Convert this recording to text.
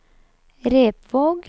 Repvåg